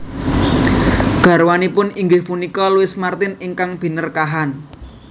Garwanipun inggih punika Louis Martin ingkang Binerkahan